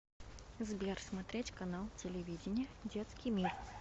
сбер смотреть канал телевидения детский мир